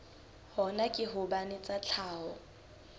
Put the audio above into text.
hona ke hobane tsa tlhaho